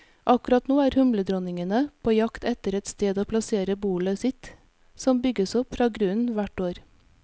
Akkurat nå er humledronningene på jakt etter et sted å plassere bolet sitt, som bygges opp fra grunnen hvert år.